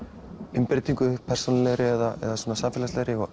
umbreytingu persónulegri eða samfélagslegri og